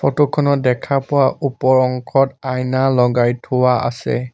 Photo খনত দেখা পোৱা ওপৰ অংশত আইনা লগাই থোৱা আছে।